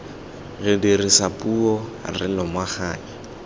re dirisa puo re lomaganya